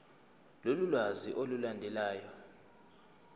lolu lwazi olulandelayo